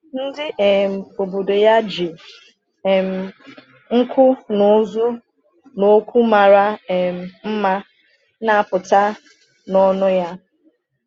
Ndị um obodo ya ji um nku n’ụzụ n’okwu mara um mma na-apụta n’ọnụ ya.